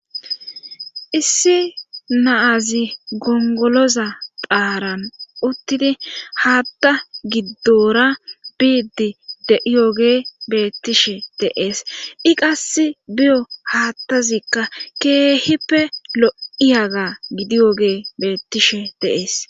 issi na'azi gongoloza phaaran uttidi haatta giddora biiddi de'iyoge beettishe de'ees i qass biyo haattazikka keehippe lo'iyogey beettishe dee'es